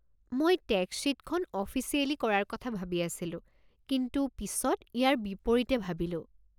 মই টেক্স শ্বীটখন অফিচিয়েলি কৰাৰ কথা ভাবি আছিলো কিন্তু পিছত ইয়াৰ বিপৰীতে ভাবিলো।